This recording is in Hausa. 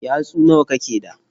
Yatsu nawa kake da?